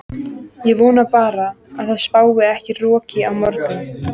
Ég vona bara að það spái ekki roki á morgun.